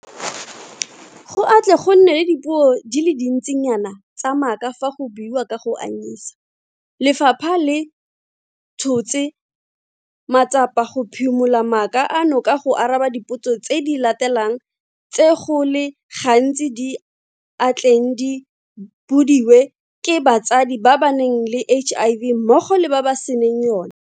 Go a tle go nne le dipuo di le dintsinayana tsa maaka fa go buiwa ka go anyisa, lefapha le tshotse matsapa go phimola maaka ano ka go araba dipotso tse di latelang tse go le gantsi di a tleng di bodiwe ke batsadi ba ba nang le HIV mmogo le ba ba senang yona.